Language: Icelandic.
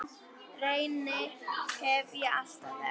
Reyni hef ég alltaf þekkt.